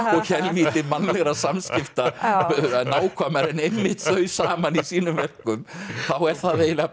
og helvíti mannlegra samskipta nákvæmar en einmitt þau saman í sínum verkum þá er það eiginlega